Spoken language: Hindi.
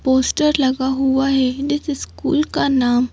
पोस्टर लगा हुआ है स्कूल का नाम--